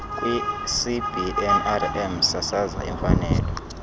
kwicbnrm sasaza imfanelo